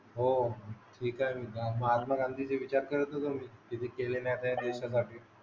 हो ठीक आहे महात्मा गांधीचे विचार करत होतो मी